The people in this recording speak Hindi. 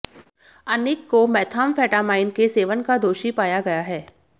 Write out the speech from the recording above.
अनिक को मेथाम्फेटामाइन के सेवन का दोषी पाया गया है